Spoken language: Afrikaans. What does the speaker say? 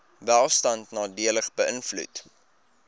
welstand nadelig beïnvloed